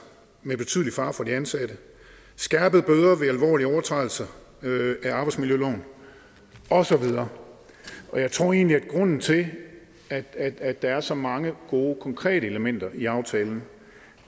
med betydelig fare for de ansatte skærpede bøder ved arbejdsmiljøloven og så videre jeg tror egentlig at grunden til at at der er så mange gode konkrete elementer i aftalen